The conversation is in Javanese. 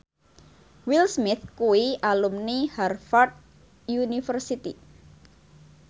Will Smith kuwi alumni Harvard university